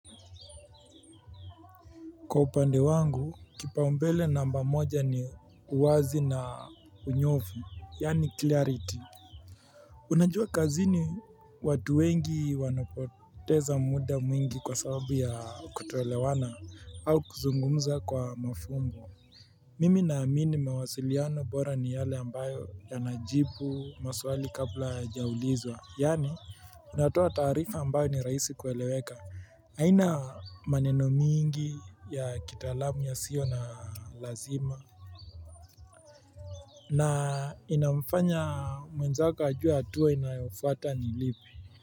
Kwa upande wangu, kipaumbele namba moja ni uwazi na unyofu, yani clarity. Unajua kazini watu wengi wanapoteza muda mwingi kwa sababu ya kutuelewana au kuzungumza kwa mafumbo Mimi na amini mawasiliano bora ni yale ambayo yanajibu, maswali kabla yajaaulizwa, yani. Unatua tarifa ambayo ni raisi kueleweka, haina maneno mingi ya kitalamu ya sio na lazima na inafanya mwenzako ajua hatua inayofuata ni lipi.